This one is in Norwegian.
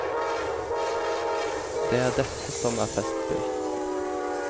Det er dette som er festspill.